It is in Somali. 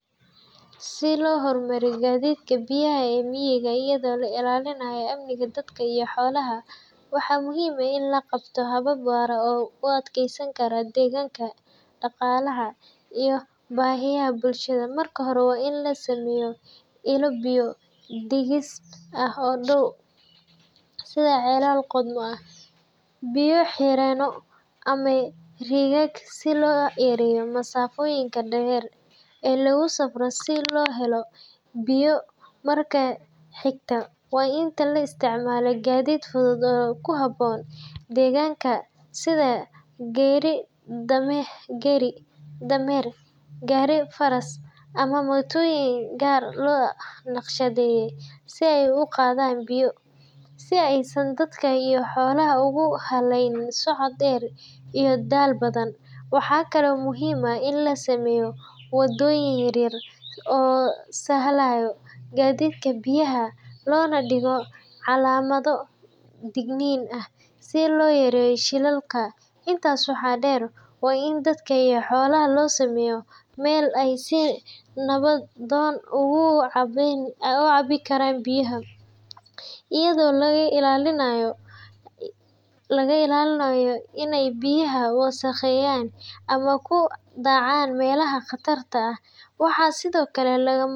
Si loo horumariyo gaadiidka biyaha ee miyiga iyadoo la ilaalinayo amniga dadka iyo xoolaha, waxaa muhiim ah in la qaato habab waara oo u adkeysan kara deegaanka, dhaqaalaha iyo baahiyaha bulshada. Marka hore, waa in la sameeyaa ilo biyo-dhigis ah oo dhow, sida ceelal qodmo ah, biyo-xireenno ama riigag, si loo yareeyo masaafooyinka dheer ee lagu safro si loo helo biyo. Marka xigta, waa in la isticmaalaa gaadiid fudud oo ku habboon deegaanka sida gaari-dameer, gaari-faras ama mootooyin gaar loo naqshadeeyey si ay u qaadaan biyo, si aysan dadka iyo xoolaha ugu halayn socod dheer iyo daal badan. Waxaa kale oo muhiim ah in la sameeyo wadooyin yar yar oo sahlaaya gaadiidka biyaha, lana dhigo calaamado digniin ah si loo yareeyo shilalka. Intaas waxaa dheer, waa in dadka iyo xoolaha loo sameeyaa meel ay si nabdoon uga cabbi karaan biyo, iyadoo laga ilaalinayo in ay biyaha wasakheeyaan ama ku dhacaan meelaha khatarta ah. Waxaa sidoo kale lagama.